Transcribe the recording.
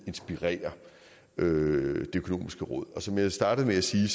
inspirere det økonomiske råd og som jeg startede med at sige